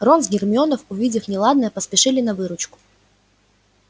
рон с гермионой увидев неладное поспешили на выручку